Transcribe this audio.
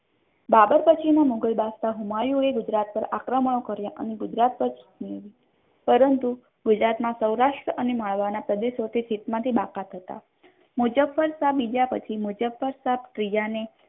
બાબર પછીનો મુઘલ બાદશાહ હુમાયુ એ ગુજરાત પાર આક્રમણ કર્યો અને ગુજરાત પછી પરંતુ ગુજરાત ના સૌરાષ્ટ્ર અને મળવા ના પ્રદેશો થી જીત માથી બાકાત હતા મુઝાફરશાહ બીજા પછી મુઝાફરશાહ ત્રીજા ને